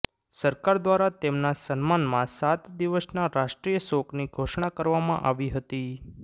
સરકાર દ્વારા તેમના સન્માનમાં સાત દિવસના રાષ્ટ્રીય શોકની ઘોષણા કરવામાં આવી હતી